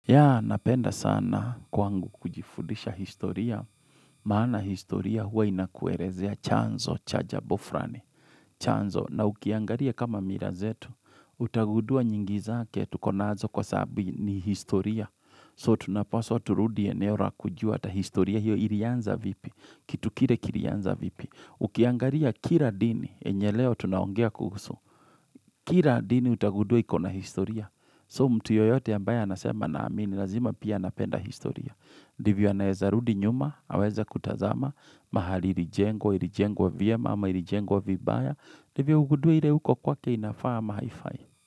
Ya, napenda sana kwangu kujifundisha historia, maana historia huwa inakuerezea chanzo, cha jambo frani, chanzo, na ukiangaria kama mirazetu, utagudua nyingi zake tukonazo kwa sababuni historia, so tunapaswa turudie eneo ra kujua ata historia, hiyo ilianza vipi, kitu kire kilianza vipi, ukiangaria kira dini, enyeleo tunaongea kuhusu, kira dini utagudua ikona historia, So mtu yoyote ambaye anasema naamini, lazima pia anapenda historia. Divyo anayeza rudinyuma, aweza kutazama, mahali ilijengwa, ilijengwa vyema ama ilijengwa vibaya. Divyo ugudue ile uko kwake inafaa mahaifai.